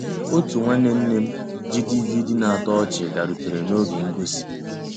Ótú nnwànné nné m jì DVD ná-àtọ́ ọ́chị́ bìàrùtérè n'ògé ngósì.